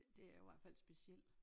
Det jo i hvert fald speciel